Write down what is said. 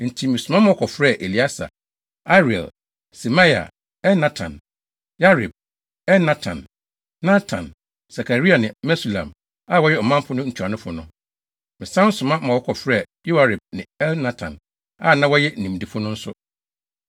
Enti mesoma ma wɔkɔfrɛɛ Elieser, Ariel, Semaia, Elnatan, Yarib, Elnatan, Natan, Sakaria ne Mesulam, a wɔyɛ ɔmanfo no ntuanofo no. Mesan soma ma wɔkɔfrɛɛ Yoiarib ne Elnatan, a na wɔyɛ nimdefo no nso;